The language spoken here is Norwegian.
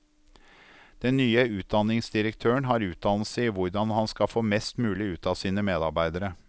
Den nye utdanningsdirektøren har utdannelse i hvordan han skal få mest mulig ut av sine medarbeidere.